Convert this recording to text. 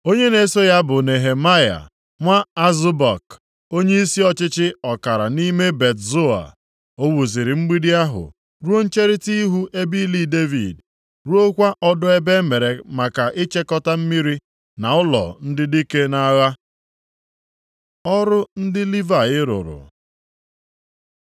Onye na-eso ya bụ Nehemaya nwa Azbuk, onyeisi ọchịchị ọkara nʼime Bet Zoa. + 3:16 Bụ ụlọ obibi ochie ndị nche, nke Devid wuru maka ndị agha na-eche ya nche mgbe ọ bụ eze. \+xt 2Sa 23:8-39\+xt* O wuziri mgbidi ahụ ruo ncherita ihu ebe ili Devid, ruokwa ọdọ ebe emere maka ichekọta mmiri, na nʼỤlọ ndị Dike nʼagha. Ọrụ ndị Livayị rụrụ